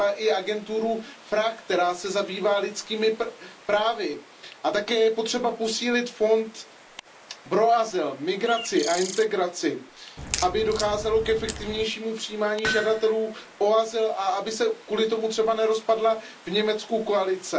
Třeba i agenturu FRA, která se zabývá lidskými právy, a také je potřeba posílit Fond pro azyl, migraci a integraci, aby docházelo k efektivnějšímu přijímání žadatelů o azyl a aby se kvůli tomu třeba nerozpadla v Německu koalice.